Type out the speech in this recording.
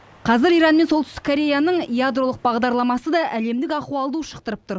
қазір иран мен солтүстік кореяның ядролық бағдарламасы да әлемдік ахуалды ушықтырып тұр